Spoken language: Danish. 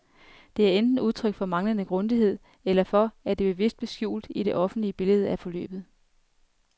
Det er enten udtryk for manglende grundighed, eller for, at det bevidst blev skjult i det officielle billede af forløbet.